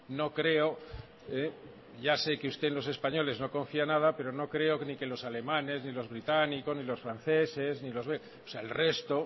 no creo ya sé que usted en los españoles no confía nada pero no creo que ni los alemanes ni los británicos ni los franceses o sea el resto